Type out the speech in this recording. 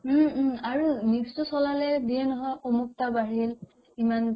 উম উম আৰু news তো চলালে দিয়ে নহয় অমুকতা বাঢ়িল ইমান